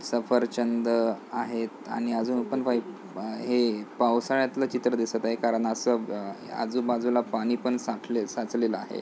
सफरचंद आहेत आणि अजून पण व्हायप आ हे पावसाळ्यातल चित्र दिसत आहे. कारण अस आ आजूबाजूला पाणी पण साठ साचलेल आहे.